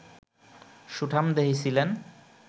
সুঠামদেহী ছিলেন